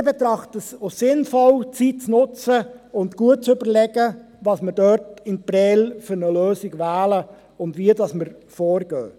Wir betrachten es als sinnvoll, die Zeit zu nutzen und gut zu überlegen, welche Lösung wir für Prêles wählen und wie wir vorgehen werden.